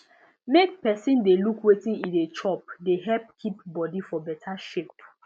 make person dey look wetin e dey chop dey help keep body for better shape